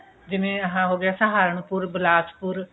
ਜਿਵੇਂ ਆਹ ਹੋ ਗਿਆ ਸਹਾਰਨਪੁਰ ਬਲਾਸਪੁਰ